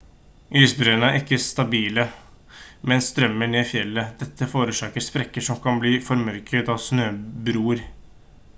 isbreene er ikke stabile men strømmer ned fjellet dette forårsaker sprekker som kan bli formørket av snøbroer